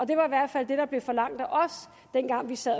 det var i hvert fald det der blev forlangt af os dengang vi sad